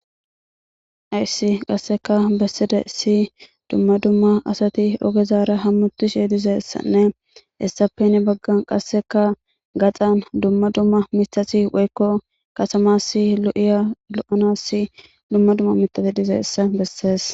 Aysi qasseka besside si dumma dumma asati ogezaara hammutishe dizeessanne essappeni baggan qasseka gaxan dumma dumma mitati woykko kasamassi lo'iya lo'ana si dumma dumma mitasi dizeessa bessees.